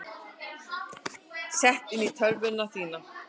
Sett inn á tölvuna þína.